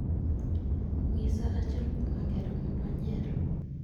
Ng'isa achiel kuom angera mondo anyier